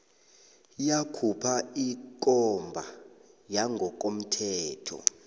yakhupha ikomba yangokomthetho